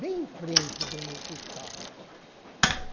Bem em frente de onde eu estava.